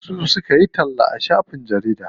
Su suka yi talla a shafin jarida.